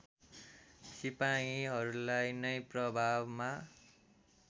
सिपाहीहरूलाई नै प्रभावमा